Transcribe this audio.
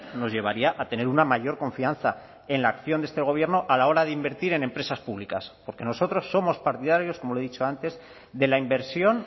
nos llevaría a tener una mayor confianza en la acción de este gobierno a la hora de invertir en empresas públicas porque nosotros somos partidarios como le he dicho antes de la inversión